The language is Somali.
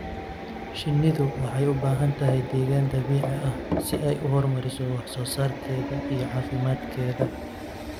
Shinnidu waxay u baahan tahay deegaan dabiici ah si ay u horumariso wax soo saarkeeda iyo caafimaadkeeda.